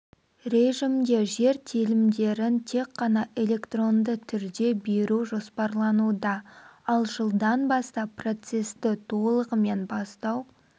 режімде жер телімдерін тек қана электронды түрде беру жоспарлануда ал жылдан бастап процесті толығымен бастау